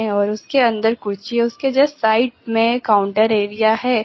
और उसके अंदर कुर्सी उसके जस्ट साइड में काउंटर एरिया है।